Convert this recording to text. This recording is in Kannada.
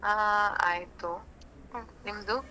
ಅಹ್ ಆಯ್ತು ನಿಮ್ದು?